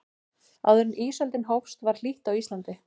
áður en ísöldin hófst var hlýtt á íslandi